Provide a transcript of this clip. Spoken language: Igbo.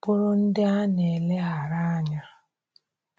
bụrụ ndị a na-eleghara anya.